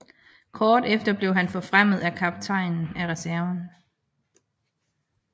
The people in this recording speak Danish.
Kort efter blev han forfremmet til kaptajn af reserven